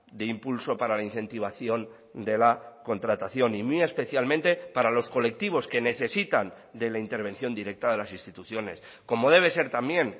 de impulso para la incentivación de la contratación y muy especialmente para los colectivos que necesitan de la intervención directa de las instituciones como debe ser también